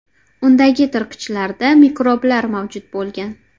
Undagi tirqichlarda mikroblar mavjud bo‘lgan.